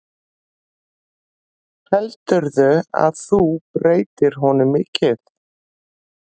Heldurðu að þú breytir honum mikið?